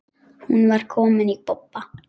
Hún var komin í bobba.